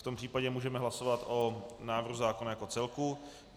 V tom případě můžeme hlasovat o návrhu zákona jako celku.